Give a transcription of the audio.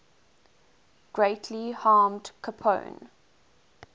greatly harmed capone